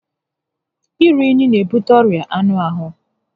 Iru únyí n'ebute ọrịa anụ ahụ